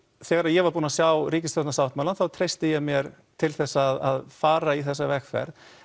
þegar ég var búinn að sjá ríkisstjórnarsáttmálann þá treysti ég mér til þess að fara í þessa vegferð